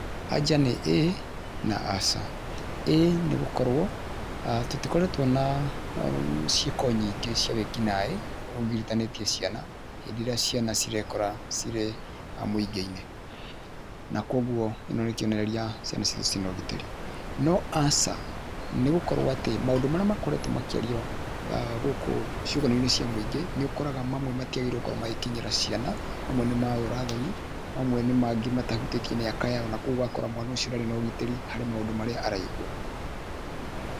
Anja nĩ ĩĩ na aca. Ĩĩ nĩ gũkorwo tũtikoretwo na ciĩko nyingĩ cĩa wĩki naĩ ũgiritanĩtie ciana hĩndĩ ĩrĩa ciana cirekora cire mũingĩinĩ na koguo ĩno nĩ kĩonereria atĩ ciana citũ ciĩna ũgitĩri, no aca nĩ gũkorwo atĩ maũndũ marĩa makoretwo makĩario gũkũ ciũnganoinĩ cia mũingĩ nĩũkoraga mamwe matiagĩrĩirwo gũkorwo magĩkinyĩra ciana mamwe nĩ ma ũra thoni mamwe nĩ marĩa matahutĩtie mĩaka yao na koguo ũgakora mwana ũcio ndarĩ na ũgitĩri harĩ maũndũ marĩa araigua.